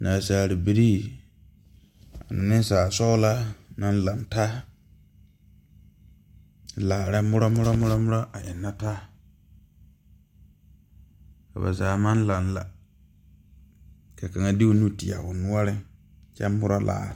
Naasaabilii ane neŋsaalsɔglaa naŋ laŋtaa laara murɔ murɔ murɔmurɔ a eŋnɛ taa ka ba zaa maŋ laŋ la ka kaŋa de o nu teɛ o noɔreŋ kyɛ murɔ laare.